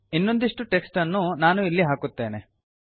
ಇನ್ನೊಂದಿಷ್ಟು ಟೆಕ್ಸ್ಟ್ ಅನ್ನು ನಾನು ಇಲ್ಲಿ ಹಾಕುತ್ತೇನೆ